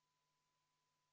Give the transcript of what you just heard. Ettepanek toetust ei leidnud.